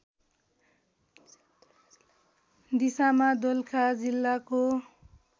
दिशामा दोलखा जिल्लाको